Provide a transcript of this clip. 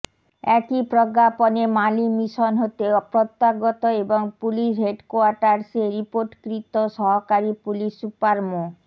একই প্রজ্ঞাপনে Mali mission হতে প্রত্যাগত এবং পুলিশ হেডকোয়ার্টার্সে রিপোর্টকৃত সহকারী পুলিশ সুপার মো